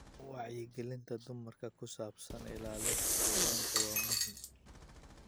Wacyigelinta dumarka ee ku saabsan ilaalinta deegaanka waa muhiim.